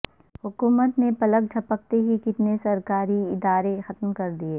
حکومت نے پلک جھپکتے ہی کتنے سرکاری ادارے ختم کر دیے